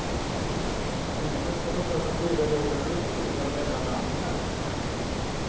Männen ska försöka flyga jorden runt utan mellanlandningar.